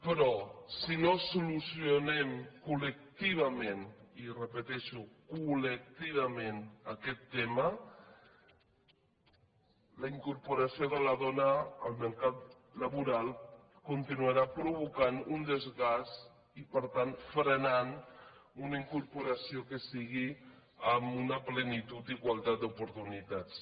però si no solucionem col·lectivament i ho repeteixo col·lectivament aquest tema la incorporació de la dona al mercat laboral continuarà provocant un desgast i per tant frenant una incorporació que sigui amb una plenitud d’igualtat d’oportunitats